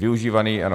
Využívaný, ano.